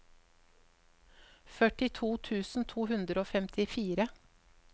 førtito tusen to hundre og femtifire